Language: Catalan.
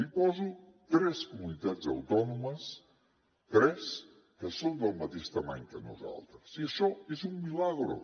li poso tres comunitats autònomes tres que són de la mateixa mida que nosaltres i això és un milagro